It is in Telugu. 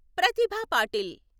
ప్రతిభ పాటిల్